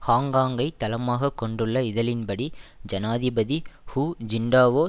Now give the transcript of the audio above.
ஹாங்காங்கை தளமாக கொண்டுள்ள இதழின்படி ஜனாதிபதி ஹு ஜின்டாவோ